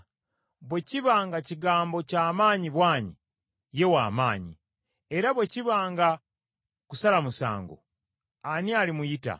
Bwe kiba nga kigambo kya maanyi bwanyi, ye wa maanyi. Era bwe kiba kya kusala musango, ani alimuyita?